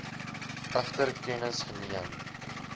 egter kennis geneem